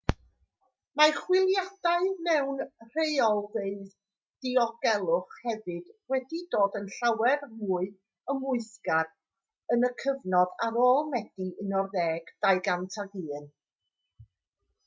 mae chwiliadau mewn rheolfeydd diogelwch hefyd wedi dod yn llawer mwy ymwthgar yn y cyfnod ar ôl medi 11 2001